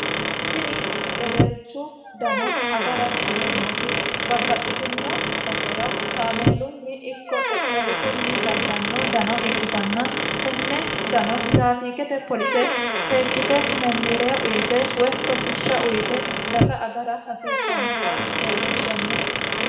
tini hedeweelchu dano agara yineemmoti babbaxxitino basera kaameelunni ikko xexxerrisunni dagganno dano ikkitanna tenne dano tiraafiiqete polise seekkite memmiirea uyite we rosishsha uyite daga agara hasiissannota leellishshanno